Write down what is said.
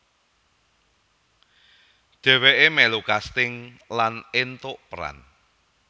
Dheweke melu casting lan entuk peran